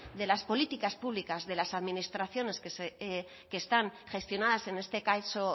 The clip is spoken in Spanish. de las políticas públicas de las administraciones que están gestionadas en este caso